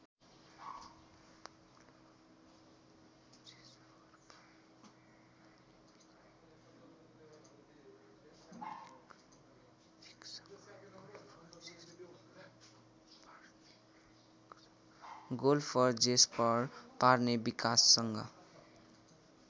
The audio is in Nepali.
golfer Jesper पार्नेविकसँग